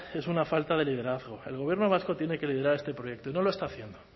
es una falta de liderazgo el gobierno vasco tiene que liderar este proyecto y no lo está haciendo